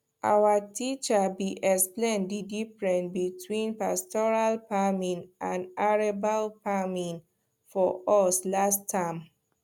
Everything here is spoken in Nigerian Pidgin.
our teacher be explain the diffrence between pastoral farming and arable farming for us last term